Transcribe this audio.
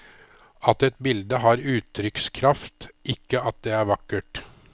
At et bilde har uttrykkskraft, ikke at det er vakkert.